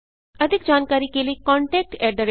अधिक जानकारी के लिए contactspoken tutorialorg पर लिखें